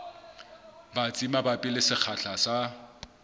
batsi mabapi le sekgahla sa